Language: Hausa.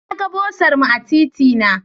Na ga bursar mu a titina.